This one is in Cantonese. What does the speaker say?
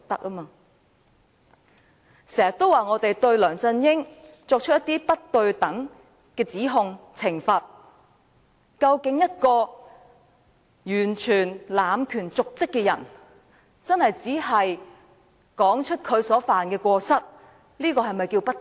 有人經常指責我們對梁振英作出不公平的指控和懲罰，但對於一個完全濫權瀆職的人，說出他所犯的過失，是否叫做不公平？